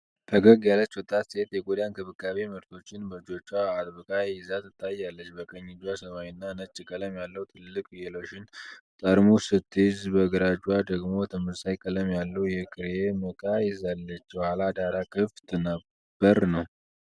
ፈገግ ያለች ወጣት ሴት የቆዳ እንክብካቤ ምርቶችን በእጆቿ አጥብቃ ይዛ ታያለች። በቀኝ እጇ ሰማያዊና ነጭ ቀለም ያለው ትልቅ የሎሽን ጠርሙስ ስትይዝ፣ በግራ እጇ ደግሞ ተመሳሳይ ቀለም ያለው የክሬም ዕቃ ይዛለች። የኋላ ዳራ ክፍት በር ነው።